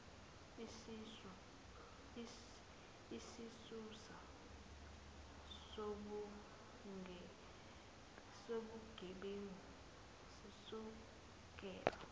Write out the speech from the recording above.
isisusa sobugebengu sisukela